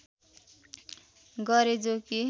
गरे जो कि